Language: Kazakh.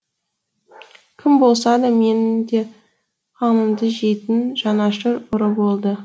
кім болса да менің де қамымды жейтін жанашыр ұры болды